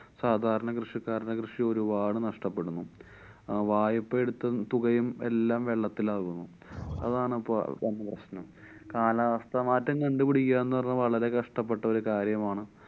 സാധാരണ കൃഷിക്കാരന് കൃഷി ഒരുപാട് നഷ്ട്ടപ്പെടുന്നു. വായ്പ എടുത്ത തുകയും എല്ലാം വെള്ളത്തിലാകും. അതാണിപ്പോ സംഭാവി കാലാവസ്ഥമാറ്റം കണ്ടു പിടിക്കാന്നു പറഞ്ഞാ വളരെ കഷ്ട്ടപ്പെട്ടൊരു കാര്യമാണ്.